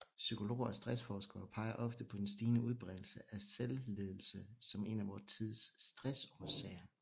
Psykologer og stressforskere peger ofte på den stigende udbredelse af selvledelse som en af vor tids stressårsager